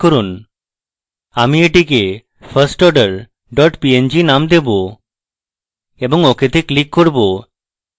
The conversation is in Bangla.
আমি এটিকে firstorder png name দেবো এবং ok তে click করব